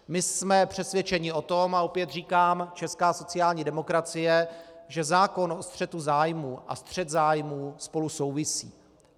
My jsme přesvědčeni o tom a opět říkám, česká sociální demokracie, že zákon o střetu zájmů a střet zájmů spolu souvisí.